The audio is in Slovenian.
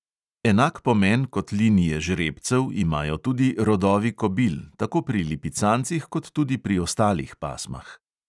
Enak pomen kot linije žrebcev imajo tudi rodovi kobil, tako pri lipicancih kot tudi pri ostalih pasmah.